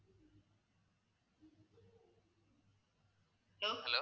hello